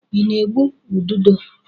I na-egbu ududo?